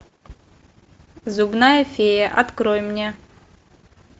зубная фея открой мне